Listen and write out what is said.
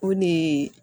O de ye